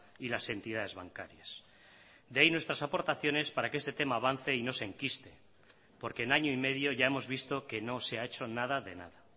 y las entidades bancarias de ahí nuestras aportaciones para que este tema avance y no se enquiste porque en año y medio ya hemos visto que no se ha hecho nada de nada